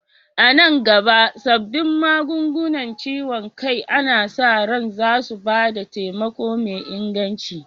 A nan gaba, sabbin magungunan ciwon kai ana sa ran zasu ba da taimako mai inganci.